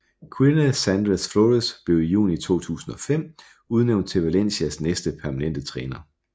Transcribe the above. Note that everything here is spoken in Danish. Quique Sánchez Flores blev i juni 2005 udnævnt til Valencias næste permanente træner